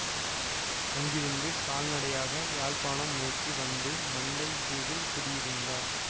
அங்கிருந்து கால்நடையாக யாழ்ப்பாணம் நோக்கி வந்து மண்டை தீவில் குடியிருந்தார்